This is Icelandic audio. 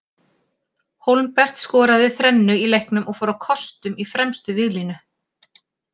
Hólmbert skoraði þrennu í leiknum og fór á kostum í fremstu víglínu.